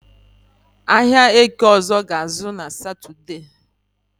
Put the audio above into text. Ahịa Eke ọzọ ga-ázụ́ na Satọde